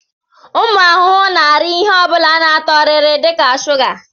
Ụmụ ahụhụ na-ara ihe ọ bụla ná-atọ rịrị dịka shuga.